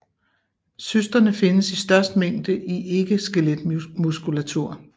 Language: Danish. Cysterne findes i størst mængde i ikke skeletmuskulatur